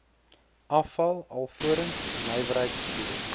afval alvorens nywerheidsgebiede